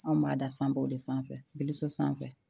Anw b'a da san baw de sanfɛ biliso sanfɛ